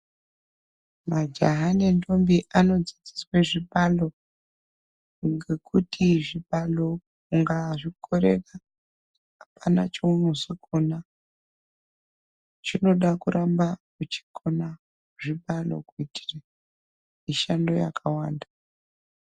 Majaha nendombo anodzidziswe zvibalo ngekuti zvibalo ungazvikorera hapana cheunozokona. Chinoda kuramba uchikona zvibalo kuitire mishando yakawanda.